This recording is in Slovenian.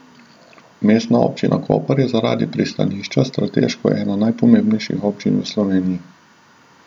Mestna občina Koper je zaradi pristanišča strateško ena najpomembnejših občin v Sloveniji.